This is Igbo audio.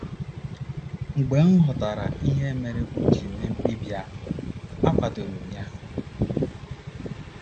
Mgbe m ghọtara ihe mere o ji mee mkpebi a, akwadoro m ya.